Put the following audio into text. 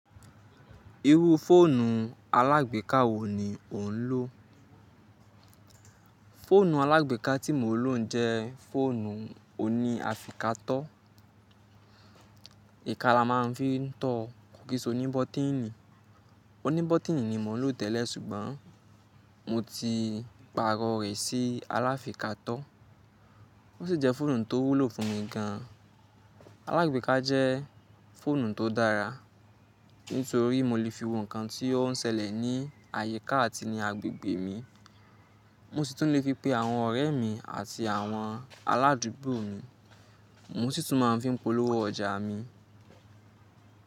Irú fóònù alágbèká wo ni ò ń lò? Fóònù alágbèká tí mò ń lò jẹ́ fóònù òní áfíkátọ́. Ìka la máa ń fi ń tọ, kò kí sì ó ní bọ́tíìnì. Òní bọ́tíìnì ni mò ń lò tẹ́lẹ̀ ṣùgbọ́n mo ti pààrọ̀ rẹ̀ sí aláfíkátọ́. Ó sì jẹ́ fóònù tó wúlò fún mi gan an. Alágbèká jẹ́ fóònù tó dára nítorí mo lè fi wo nǹkan tí ó ń ṣẹlẹ̀ ní àyíká àti ní agbègbè mi. Mo sì tún lè pè àwọn ọ̀rẹ́ mi àti àwọn aládùúgbò mi. Mo sì tún máa ń fi polówó ọjà mi.